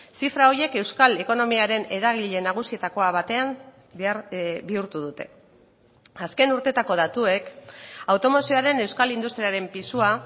zifra horiek euskal ekonomiaren eragile nagusietako batean bihurtu dute azken urtetako datuek automozioaren euskal industriaren pisua